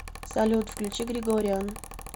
салют включи грегориан